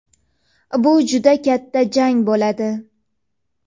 bu juda katta jang bo‘ladi.